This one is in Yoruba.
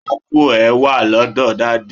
ápù e wa lọdọ daddy